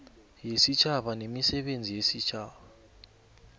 yesitjhaba nemisebenzi yesitjhaba